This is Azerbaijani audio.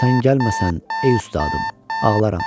Sən gəlməsən, ey ustadım, ağlaram.